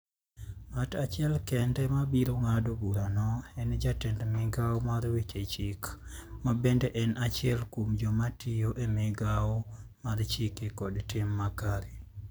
Ng'at achiel kende ma biro ng'ado burano en jatend migao mar Weche Chik, ma bende en achiel kuom joma tiyo e Migawo mar Chike kod Tim Makare.